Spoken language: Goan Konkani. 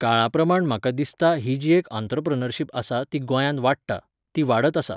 काळाप्रमाण म्हाका दिसता ही जी एक अंत्रोप्रेनोरशीप आसा ती गोयांत वाडटा.ती वाडत आसा.